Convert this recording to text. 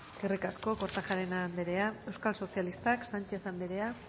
eskerrik asko kortajarena andrea euskal sozialistak sánchez andrea